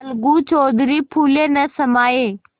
अलगू चौधरी फूले न समाये